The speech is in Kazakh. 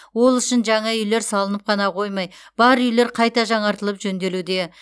ол үшін жаңа үйлер салынып қана қоймай бар үйлер қайта жаңартылып жөнделуде